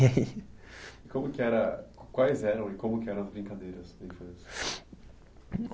E como que era, quais eram e como que eram as brincadeiras na infância?